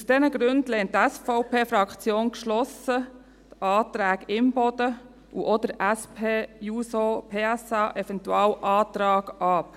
Aus diesen Gründen lehnt die SVP-Fraktion geschlossen die Anträge Imboden und auch den SP-JUSO-PSA-Eventualantrag ab.